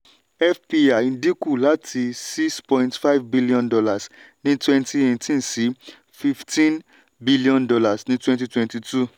fpi dínkù láti six point five billion dollars ní twenty eighteen sí fifteen billion dollars ní twenty twenty two.